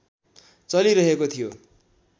चलि रहेको थियो